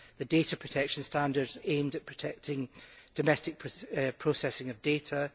the data protection standards aimed at protecting domestic processing of data